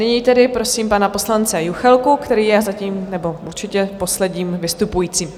Nyní tedy prosím pana poslance Juchelku, který je zatím - nebo určitě - posledním vystupujícím.